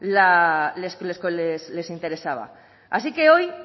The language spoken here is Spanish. le interesaba así que hoy